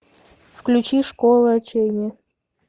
включи школа отчаяния